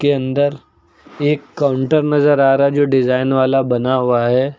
के अंदर एक काउंटर नजर आ रहा है जो डिजाइन वाला बना हुआ है।